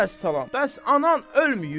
Bəs anan ölməyib?